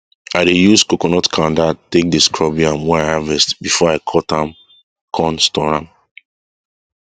i dey use coconut kanda take dey scrub yam wey i harvest before i cut am con store am